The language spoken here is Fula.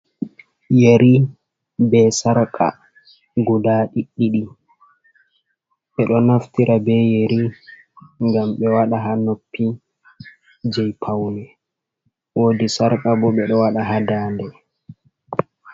Yeri be sarka guda ɗiɗi, ɓeɗo naftira be yeri ngam ɓe waɗa ha noppi, jei paune wodi sarka ɓo ɓe ɗo waɗa ha dande